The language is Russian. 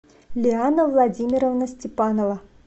лиана владимировна степанова